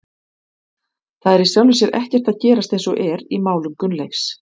Það er í sjálfu sér ekkert að gerast eins og er í málum Gunnleifs.